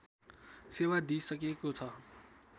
सेवा दिइसकेको छ